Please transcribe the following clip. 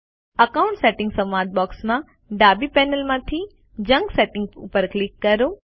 account settings સંવાદ બૉક્સમાં ડાબી પેનલમાંથી જંક સેટિંગ્સ પર ક્લિક કરો